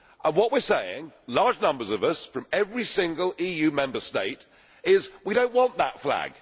What we are saying large numbers of us from every single EU Member State is We do not want that flag.